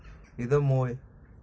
и домой